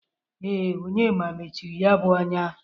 Ee, Onyema mechiri ya bụ ọnya.